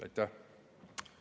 Aitäh!